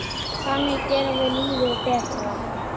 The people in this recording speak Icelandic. Þannig gerum við lífið betra.